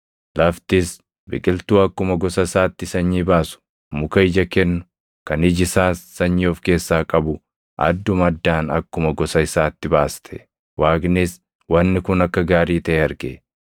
Laftis biqiltuu akkuma gosa isaatti sanyii baasu, muka ija kennu, kan iji isaas sanyii of keessaa qabu adduma addaan akkuma gosa isaatti baaste. Waaqnis wanni kun akka gaarii taʼe arge.